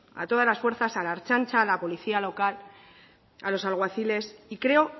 a todas las fuerzas a la ertzaintza a la policía local a los alguaciles y creo